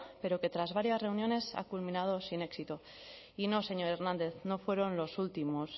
pero que tras varias reuniones ha culminado sin éxito y no señor hernández no fueron los últimos